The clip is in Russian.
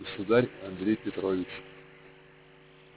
государь андрей петрович